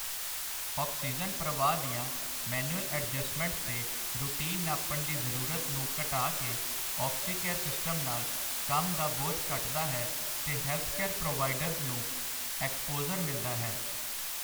oxygen ਪ੍ਰਵਾਹ ਦੀਆਂ manual adjustments ਤੇ ਰੂਟੀਨ ਨਾਪਣ ਦੀ ਜ਼ਰੂਰਤ ਨੂੰ ਘਟਾ ਕੇ ਆਕਸੀਕੇਅਰ ਸਿਸਟਮ ਨਾਲ ਕੰਮ ਦਾ ਬੋਝ ਘਟਦਾ ਹੈ ਤੇ ਹੈਲਥਕੇਅਰ ਪ੍ਰੋਵਾਈਡਰਸ ਨੂੰ ਐਕਸਪੋਜ਼ਰ ਮਿਲਦਾ ਹੈ